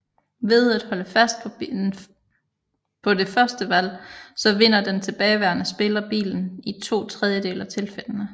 Ved at holde fast på det første valg så vinder den tilbageværende spiller bilen i to tredjedele af tilfældende